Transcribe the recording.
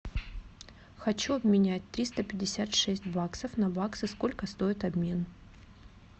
хочу обменять триста пятьдесят шесть баксов на баксы сколько стоит обмен